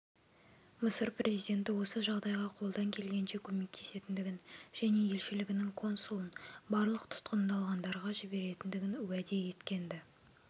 мысыр президенті осы жағдайға қолдан келгенше көмектесетіндігін және елшілігінің консулын барлық тұтқындалғандарға жіберетіндігін уәде еткенді